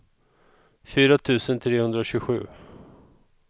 fyra tusen trehundratjugosju